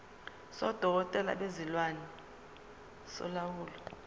sodokotela bezilwane solawulo